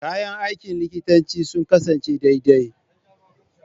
Kayan aikin likitanci sun kasance daidai.